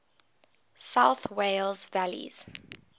south wales valleys